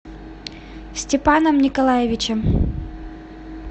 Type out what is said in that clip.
степаном николаевичем